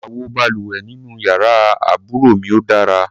Àwo balùwẹ̀ nínú yàrá àbúrò mi ò dára.